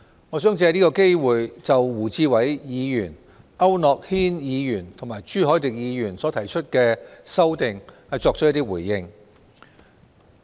我想藉此機會回應胡志偉議員、區諾軒議員和朱凱廸議員所提出的修訂。